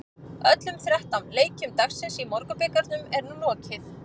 Öllum þrettán leikjum dagsins í Borgunarbikarnum er nú lokið.